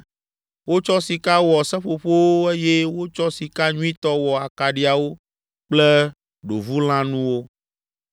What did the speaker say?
Wotsɔ sika wɔ seƒoƒowo eye wotsɔ sika nyuitɔ wɔ akaɖiawo kple ɖovulãnuwo.